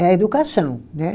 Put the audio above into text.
É a educação, né?